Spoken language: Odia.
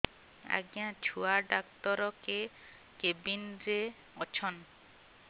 ଆଜ୍ଞା ଛୁଆ ଡାକ୍ତର କେ କେବିନ୍ ରେ ଅଛନ୍